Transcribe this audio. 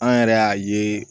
An yɛrɛ y'a ye